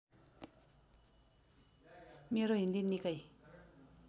मेरो हिन्दी निकै